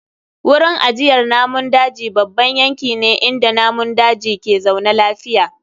Wurin ajiyar namun daji babban yanki ne inda namun daji ke zaune lafiya.